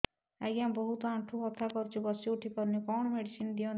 ଆଜ୍ଞା ବହୁତ ଆଣ୍ଠୁ ବଥା କରୁଛି ବସି ଉଠି ପାରୁନି କଣ ମେଡ଼ିସିନ ଦିଅନ୍ତୁ